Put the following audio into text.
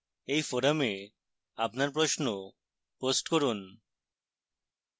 এই forum আপনার প্রশ্ন post করুন